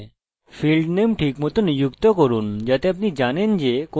fieldname ঠিকমত নিযুক্ত করুন যাতে আপনি জানেন যে কোন তথ্য সঞ্চয় করছেন